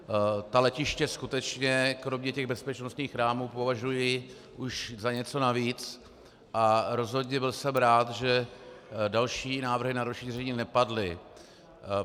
Ta letiště skutečně kromě těch bezpečnostních rámů považuji už za něco navíc a rozhodně jsem byl rád, že další návrhy na rozšíření nepadly.